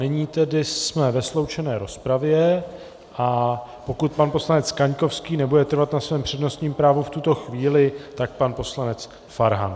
Nyní tedy jsme ve sloučené rozpravě, a pokud pan poslanec Kaňkovský nebude trvat na svém přednostním právu v tuto chvíli, tak pan poslanec Farhan.